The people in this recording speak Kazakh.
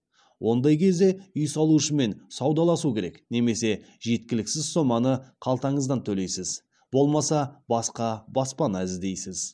ондай кезде үй салушымен саудаласу керек немесе жеткіліксіз соманы қалтаңыздан төлейсіз болмаса басқа баспана іздейсіз